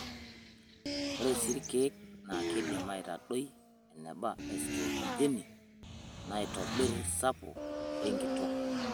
Ore sii ilkeek naa keidim aitadoi eneba estrojeni naitobirr sapo lenkitok.